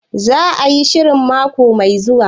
Za a yi shirin mako mai zuwa?